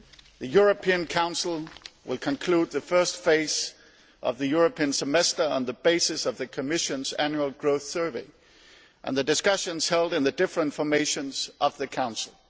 The European Council will conclude the first phase of the European Semester on the basis of the Commission's annual growth survey and the discussions held in the different formations of the Council.